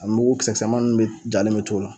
A mugu kisɛkisɛman nunnu be jalen be to ola